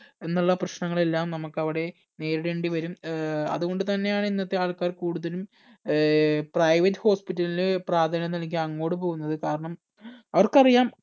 എന്നുള്ള പ്രശ്നങ്ങൾ എല്ലാം നമുക്ക് അവിടെ നേരിടേണ്ടി വരും ഏർ അതുകൊണ്ട് തന്നെ ആണ് ഇന്നത്തെ ആൾക്കാർ കൂടുതലും ഏർ private hospital ന് പ്രാധാന്യം നൽകി അങ്ങൊട് പോകുന്നത് കാരണം അവർക്കറിയാം